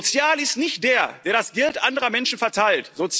Sozial ist nicht der, der das Geld anderer Menschen verteilt.